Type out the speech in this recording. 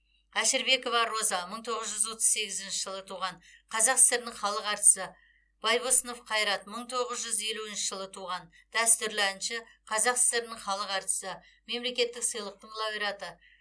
әшірбекова роза мың тоғыз жүз отыз сегізінші жылы туған қазақ сср інің халық әртісі байбосынов қайрат мың тоғыз жүз елуінші жылы туған дәстүрлі әнші қазақ сср інің халық әртісі мемлекеттік сыйлықтың лауреаты